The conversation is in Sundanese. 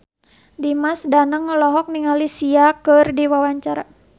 Dimas Danang olohok ningali Sia keur diwawancara